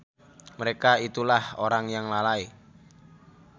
Mereka itulah orang yang lalai.